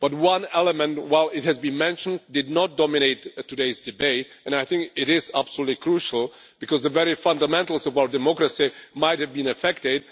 But one element, while it has been mentioned, did not dominate today's debate, and I think it is absolutely crucial, because the very fundamentals of our democracy might have been affected.